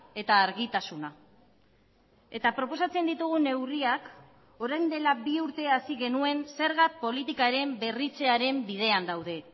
eta argitasuna eta proposatzen ditugun neurriak orain dela bi urte hasi genuen zerga politikaren berritzearen bidean daude